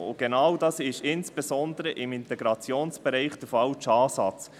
Und genau das ist, insbesondere im Integrationsbereich, der falsche Ansatz.